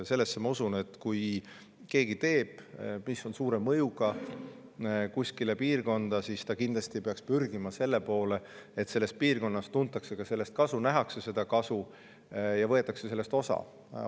Sellesse ma usun, et kui keegi teeb kuskile piirkonda midagi, mis on suure mõjuga, siis ta kindlasti peaks pürgima selle poole, et selles piirkonnas tuntakse sellest ka kasu, nähakse seda kasu ja sellest osa.